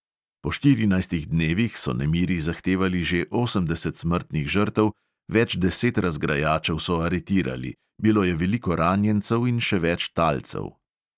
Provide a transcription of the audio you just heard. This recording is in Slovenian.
Po štirinajstih dnevih so nemiri zahtevali že osemdeset smrtnih žrtev, več deset razgrajačev so aretirali; bilo je veliko ranjencev in še več talcev.